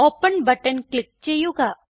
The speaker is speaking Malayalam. ഓപ്പൻ ബട്ടൺ ക്ലിക്ക് ചെയ്യുക